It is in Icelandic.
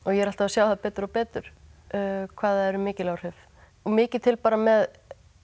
ég er alltaf að sjá það betur og betur hvað það eru mikil áhrif og mikið til bara með